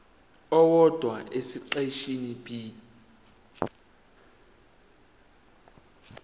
owodwa esiqeshini b